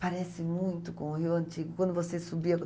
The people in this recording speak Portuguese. Parece muito com o Rio Antigo, quando você subia.